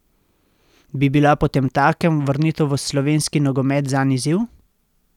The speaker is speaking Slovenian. Bi bila potemtakem vrnitev v slovenski nogomet zanj izziv?